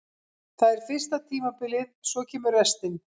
Það er fyrsta tímabilið, svo kemur restin.